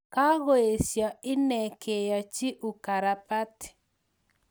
Kakoesia innee keachii ukarabati